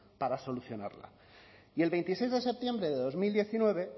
para solucionarla y el veintiséis de septiembre de dos mil diecinueve